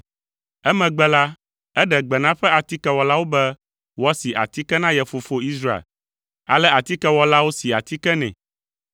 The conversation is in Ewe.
Emegbe la, eɖe gbe na eƒe atikewɔlawo be woasi atike na ye fofo Israel. Ale atikewɔlawo si atike nɛ.